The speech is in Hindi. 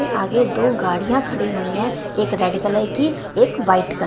इसके आगे दो गाड़ियां खड़ी हुई है एक रेड कलर की एक व्हाइट कल--